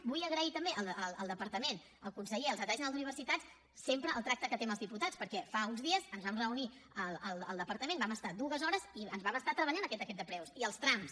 vull agrair també al departament al conseller i al secretari general d’universitats sempre el tracte que té amb els diputats perquè fa uns dies ens vam reunir al departament hi vam estar dues hores i vam estar treballant aquest decret de preus i els trams